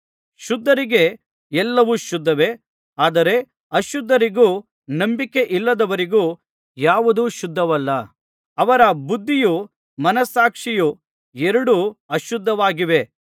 ಶುದ್ಧರಿಗೆ ಎಲ್ಲವೂ ಶುದ್ಧವೇ ಆದರೆ ಅಶುದ್ಧರಿಗೂ ನಂಬಿಕೆಯಿಲ್ಲದವರಿಗೂ ಯಾವುದೂ ಶುದ್ಧವಲ್ಲ ಅವರ ಬುದ್ಧಿಯೂ ಮನಸ್ಸಾಕ್ಷಿಯೂ ಎರಡೂ ಅಶುದ್ಧವಾಗಿವೆ